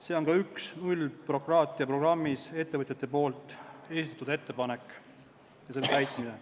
See on ka ühe nullbürokraatia programmis ettevõtjate esitatud ettepaneku täitmine.